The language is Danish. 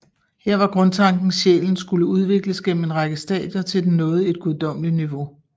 Her var grundtanken sjælen skulle udvikles gennem en række stadier til den nåede et guddommeligt niveau